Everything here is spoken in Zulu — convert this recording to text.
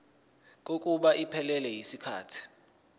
kokuba iphelele yisikhathi